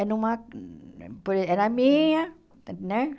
É numa por e é na minha, né?